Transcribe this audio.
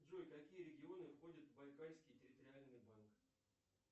джой какие регионы входят в байкальский территориальный банк